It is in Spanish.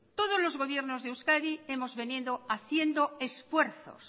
todos los gobiernos de euskadi hemos venido haciendo esfuerzos